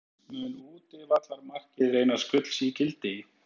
Mun útivallarmarkið reynast gulls ígildi?